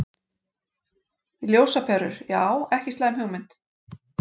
Ljósaperur, já ekki slæm hugmynd.